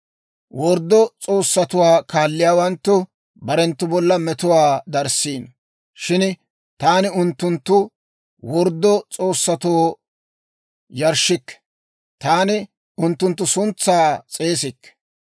Worddo s'oossatuwaa kaalliyaawanttu barenttu bolla metuwaa darissiino. Shin taani unttunttu worddo s'oossatoo yarshshikke; taani unttunttu suntsaa s'eesikke.